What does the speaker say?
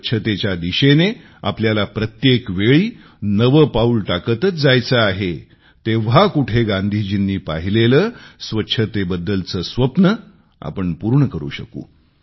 स्वच्छतेच्या दिशेने आपल्याला प्रत्येक वेळी नवे पाऊल टाकतच जायचे आहे तेव्हा कुठे गांधीजींनी पाहिलेले स्वच्छतेबद्दलचे स्वप्न आपण पूर्ण करू शकू